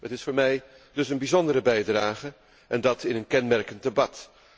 Het is voor mij dus een bijzondere bijdrage, en dat in een kenmerkend debat.